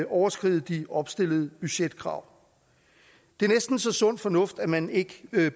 overskride de opstillede budgetkrav det er næsten så sund fornuft at man ikke